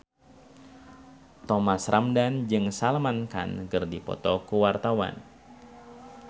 Thomas Ramdhan jeung Salman Khan keur dipoto ku wartawan